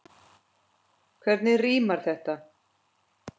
Hvernig rímar þetta?